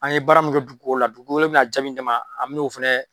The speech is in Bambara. An ye bara min kɛ dugukolo la dugukolo bɛna jaabi jama an bin'o fana.